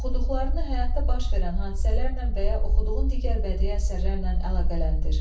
Oxuduqlarını həyatda baş verən hadisələrlə və ya oxuduğun digər bədii əsərlərlə əlaqələndir.